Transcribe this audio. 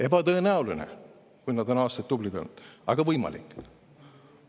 Ebatõenäoline, kui nad on aastaid tublid olnud, aga võimalik.